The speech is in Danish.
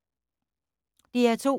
DR2